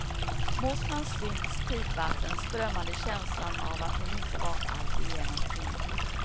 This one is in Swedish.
Mot hans synds tidvatten strömmade känslan att hon inte var alltigenom kvinnlig.